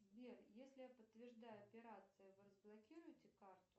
сбер если я подтверждаю операцию вы разблокируете карту